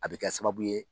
A bɛ kɛ sababu ye